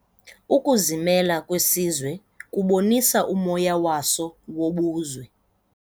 Ukuzimela kwesizwe kubonisa umoya waso wobuzwe.